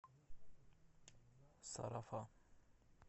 сарафан